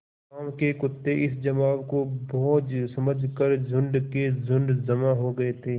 गाँव के कुत्ते इस जमाव को भोज समझ कर झुंड के झुंड जमा हो गये थे